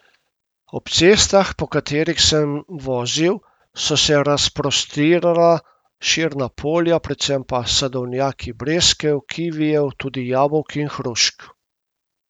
Ob cestah, po katerih sem vozil, so se razprostirala širna polja, predvsem pa sadovnjaki breskev, kivijev, tudi jabolk in hrušk.